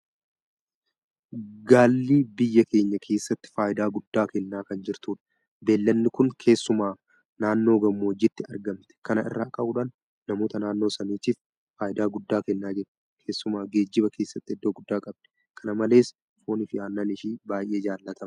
Gaalli biyya keenya keessatti faayidaa guddaa kennaa kan jirtudha. Beellanni kun keessumaa naannoo gammoojjiitti argamti. Kana irraa ka'uudhaan namoota naannoo sanaatiif faayidaa guddaa kennaa jirti. Keessumaa geejiba keessatti iddoo guddaa qabdi. Kana malees fooniifi Aannan ishee baay'ee jaalatamaadha.